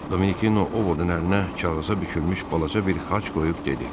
Dominikino Ovodun əlinə kağıza bükülmüş balaca bir xaç qoyub dedi: